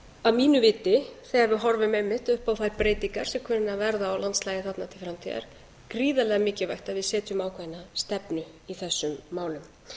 að mínu viti þegar við horfum einmitt upp á þær breytingar sem kunna að verða á landslagi þarna til framtíðar gríðarlega mikilvægt að við setjum ákveðna stefnu í þessum málum